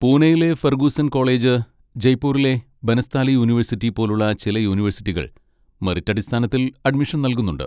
പൂണെയിലെ Fergusson college, ജയ്പൂരിലെ Banasthali university പോലുള്ള ചില യൂണിവേഴ്സിറ്റികൾ മെറിറ്റ് അടിസ്ഥാനത്തിൽ അഡ്മിഷൻ നൽകുന്നുണ്ട്.